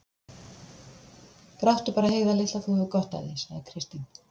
Gráttu bara, Heiða litla, þú hefur gott af því, sagði Kristín.